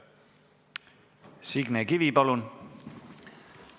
Signe Kivi, palun!